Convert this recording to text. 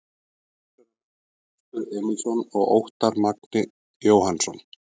Umsjónarmenn: Þröstur Emilsson og Óttarr Magni Jóhannsson